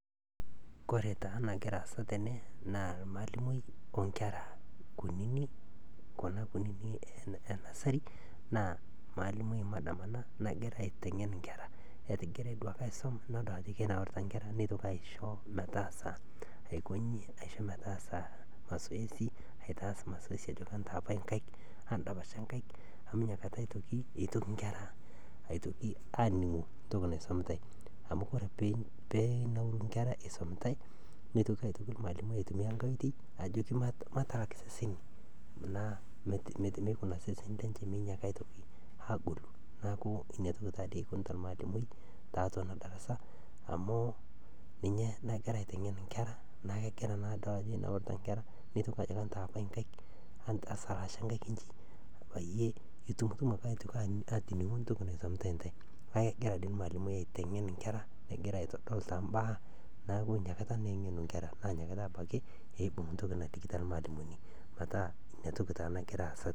Ore taa enagira aasa tene naa ormalimui onkera kunyinyik emalimui CS[Madam]CS ina nagira aitenge'n inkera, etigira duaake aisum nidol ajo kirorita inkera neitoki aisho metaasa CS[mazoezi]CS aitas ajoki entaapai inkaik ajoki endapasha inkaik amu inakata itoki inkera aningu entoki naisumitai amu ore peenauru inkera isumitai neitoki ormalimui aitumia enkae oitoi nejoki matalak iseseni meinyaaki seseni lenye agolu, neeku inatoki taatoi ikunita ormalimui tiatua ena CS[darasa]CS amuu ninye nagira aitenge'n inkera naa kedolitaa naa ajo kenaura inkera neitoki ajoki entaapai inkaik nejoki esalaasha inkaik inji peyiee itumutumu anoto entoki naisumitai intai neeku kegira toi ormalimui aitenge'n inkera negira aitodol too im'baa neeku inakata naa enge'nu inkera neibung entoki nalikito ormalimui neeku inatoki taa nagira aasa.